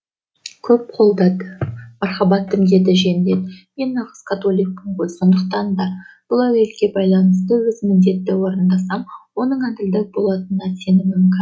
көп қолдады мархабаттым деді жендет мен нағыз католикпін ғой сондықтан да бұл әуелге байланысты өз міндетімді орындасам оның әділдік болатынына сенімім кәміл